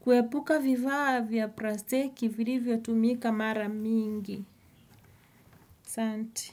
kuepuka vifaa vya plastiki vilivyo tumika mara mingi. Asanti.